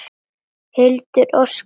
Hildur, Óskar og börn.